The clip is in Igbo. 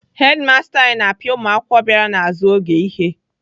Hedimasta anyị na-apịa ụmụakwụkwọ bịara n'azụ oge ihe.